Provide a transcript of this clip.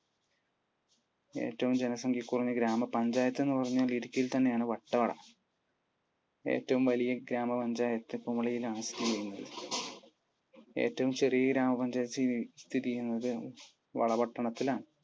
ഏറ്റവും ജനസംഖ്യ കുറഞ്ഞ ഗ്രാമ പഞ്ചായത്ത് എന്ന് പറഞ്ഞാൽ ഇടുക്കിയിൽ തന്നെയാണ് വട്ടവട. ഏറ്റവും വലിയ ഗ്രാമ പഞ്ചായത്ത് കുമിളിയിൽ ആണ് സ്ഥിതി ചെയ്യുന്നത്. ഏറ്റവും ചെറിയ ഗ്രാമ പഞ്ചായത്ത് സ്ഥിതി ചെയ്യുന്നത് വളപട്ടണത്തിലാണ്.